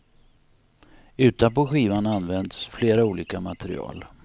Utanpå skivan används flera olika material.